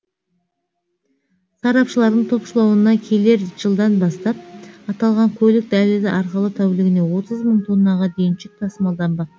сарапшылардың топшылауына келер жылдан бастап аталған көлік дәлізі арқылы тәулігіне отыз мың тоннаға дейін жүк тасмалданбақ